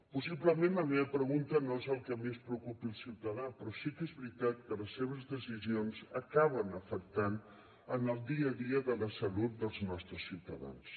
possiblement la meva pregunta no és el que més preocupi el ciutadà però sí que és veritat que les seves decisions acaben afectant el dia a dia de la salut dels nostres ciutadans